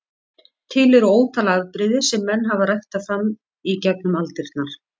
Til eru ótal afbrigði sem menn hafa ræktað fram í gegnum aldirnar.